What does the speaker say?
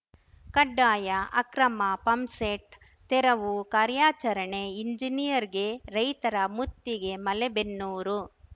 ಕಡ್ಡಾಯ ಅಕ್ರಮ ಪಂಪ್‌ಸೆಟ್‌ ತೆರವು ಕಾರ್ಯಾಚರಣೆ ಇಂಜಿನಿಯರ್‌ಗೆ ರೈತರ ಮುತ್ತಿಗೆ ಮಲೇಬೆನ್ನೂರು